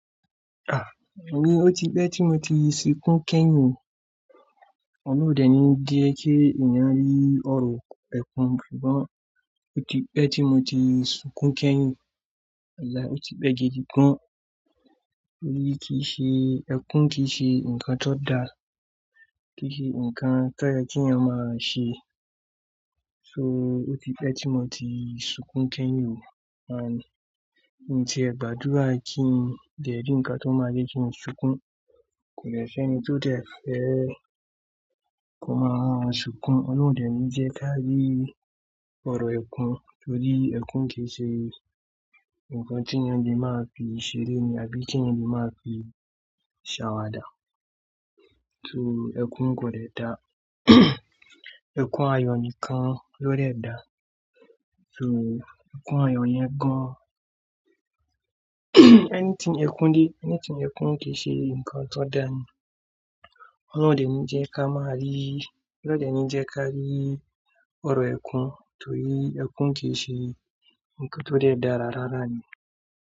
Ah! I mean ó ti pẹ́ tí mo ti sunkún kẹ́yìn, Ọlọ́run o dènì jẹ́ kí èeyan rí ọ̀rọ̀ ẹkún ṣùgbọ́n ó ti pẹ́ tí mo ti sunkún kẹ́yìn. Walai, ó ti pẹ́ gidi gán. Torí kìí ṣe, ẹkún kì í ṣe nǹkan tó da, kì í ṣe nǹkan tó yẹ kí ènìyàn máa ṣe. So ó ti pẹ́ tí mo ti sunkún kẹ́yìn. Ànd, mii ti ẹ gbàdúrà kí n dẹ̀ rí nǹkan tó máa jẹ́ kí n sunkún. Kò dẹ seni tó dẹ fẹ́ ko máa wa ma sunkún. Ọlọ́run o dènì jẹ́ ká rí ọ̀rọ̀ ẹkún torí ẹkún kì í ṣe nǹkan tí èeyàn le máa fi ṣeré ni àbí kí èeyàn le máa fi ṣàwàdà. So ẹkún kò dẹ da. Ẹkún ayọ̀ nìkan ló dẹ da. So ẹkún ayọ̀ yẹn gan. Any tí ẹkún dé, ẹni tí ẹkún kì í ṣe nǹkan tó da ni. Ọlọ́run dènì jẹ́ ká má rí, Ọlọ́run dènì jẹ́ ká rí ọ̀rọ̀ ẹkún torí ẹkún kì í ṣe nǹkan tó dẹ da rárá ni.